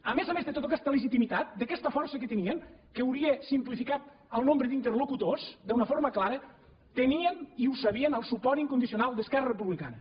a més a més de tota aquesta legitimitat d’aquesta força que tenien que hauria simplificat el nombre d’interlocutors d’una forma clara tenien i ho sabien el suport incondicional d’esquerra republicana